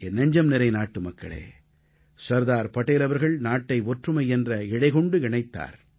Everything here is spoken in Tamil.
என் நெஞ்சம்நிறை நாட்டுமக்களே சர்தார் படேல் அவர்கள் நாட்டை ஒற்றுமை என்ற இழை கொண்டு இணைத்தார்